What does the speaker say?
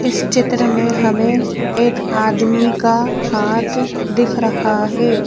इस चित्र में हमें एक आदमी का हाथ दिख रहा है।